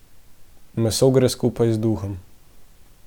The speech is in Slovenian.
Meso gre skupaj z duhom.